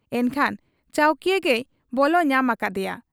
ᱮᱱᱠᱷᱟᱱ ᱪᱟᱹᱣᱠᱤᱭᱟᱹ ᱜᱮᱭ ᱵᱚᱞᱚ ᱧᱟᱢ ᱟᱠᱟᱫ ᱮᱭᱟ ᱾